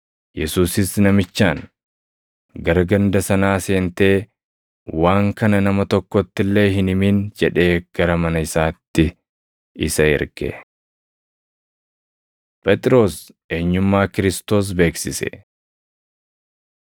Yesuusis namichaan, “Gara ganda sanaa seentee waan kana nama tokkotti illee hin himin” jedhee gara mana isaatti isa erge. Phexros Eenyummaa Kiristoos Beeksise 8:27‑29 kwf – Mat 16:13‑16; Luq 9:18‑20